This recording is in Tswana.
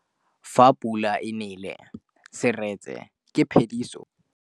Fa pula e nelê serêtsê ke phêdisô ya metsi.